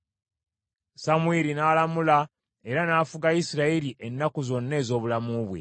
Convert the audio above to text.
Samwiri n’alamula era n’afuga Isirayiri ennaku zonna ez’obulamu bwe.